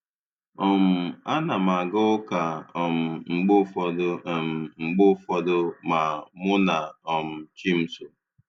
um A na m aga ụka um mgbe ụfọdụ um mgbe ụfọdụ ma mụ na um chi m so